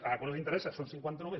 ah quan els interessa són cinquanta només